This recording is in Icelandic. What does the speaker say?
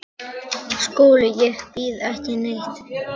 SKÚLI: Ég býð ekki neitt.